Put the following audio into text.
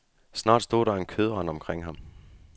Snart stod der en kødrand omkring ham.